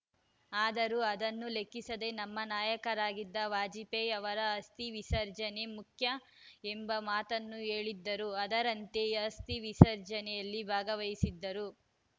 ಆದರೂ ಅದನ್ನು ಲೆಕ್ಕಿಸದೆ ನಮ್ಮ ನಾಯಕರಾಗಿದ್ದ ವಾಜಪೇಯಿ ಅವರ ಅಸ್ಥಿ ವಿಸರ್ಜನೆ ಮುಖ್ಯ ಎಂಬ ಮಾತನ್ನು ಹೇಳಿದ್ದರು ಅದರಂತೆ ಅಸ್ಥಿ ವಿಸರ್ಜನೆಯಲ್ಲಿ ಭಾಗವಹಿಸಿದ್ದರು